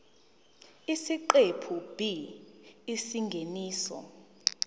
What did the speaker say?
isiqephu b isingeniso